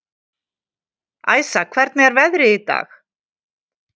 Æsa, hvernig er veðrið í dag?